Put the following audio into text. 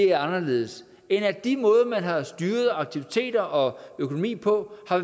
er anderledes end at de måder man har styret aktiviteter og økonomi på har